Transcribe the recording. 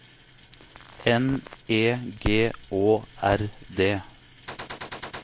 N E G Å R D